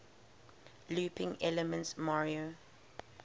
looping elements mario